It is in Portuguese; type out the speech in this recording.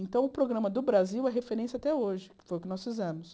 Então, o programa do Brasil é referência até hoje, que foi o que nós fizemos.